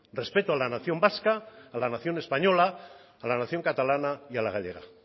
respeto a la nación vasca a la nación española a la nación catalana y a la gallega